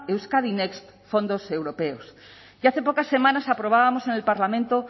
euskadi next fondos europeos y hace pocas semanas aprobábamos en el parlamento